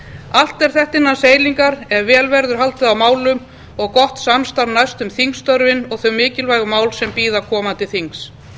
allt er þetta innan seilingar ef vel verður haldið á málum og gott samstarf næst um þingstörfin og þau mikilvægu mál sem bíða komandi þings